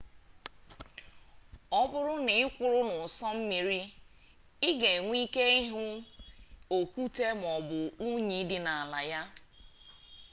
ọ bụrụ na ị kwụrụ n'ụsọ mmiri ị ga enwe ike ịhụ okwute maọbụ unyi dị n'ala ya